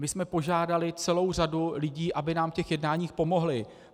My jsme požádali celou řadu lidí, aby nám v těch jednáních pomohli.